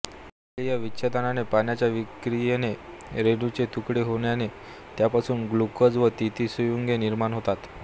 जलीय विच्छेदनाने पाण्याच्या विक्रियेने रेणूचे तुकडे होण्याने त्यांपासून ग्लुकोज व ती ती संयुगे निर्माण होतात